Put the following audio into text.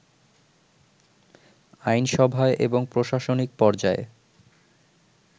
আইনসভায় এবং প্রশাসনিক পর্যায়ে